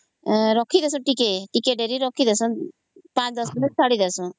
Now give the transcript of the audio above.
ସେଟକୁ ଟିକେ ରଖି ଦେଉଛୁ 5 10 ମିନିଟ ଛାଡି ଦେଈଶୁ